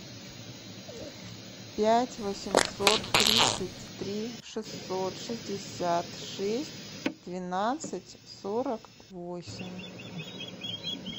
пять восемьсот тридцать три шестьсот шестьдесят шесть двенадцать сорок восемь